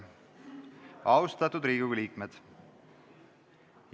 Austatud Riigikogu liikmed!